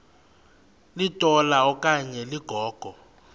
litola okanye ligogo